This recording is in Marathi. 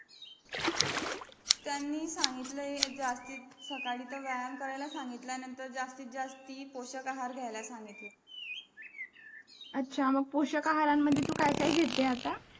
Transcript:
त्यांनी सांगलीतलं हे जास्तीत सकाळी तर व्यायाम करायला संगीतल नंतर जास्तीत जास्ती पोषक आहार घ्यायला सांगितलं अच्छा मग पोषक आहारामध्ये तू काय काय घेते आता